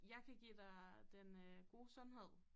Jeg kan give dig den øh gode sundhed